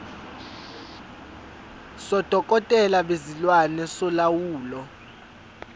sodokotela bezilwane solawulo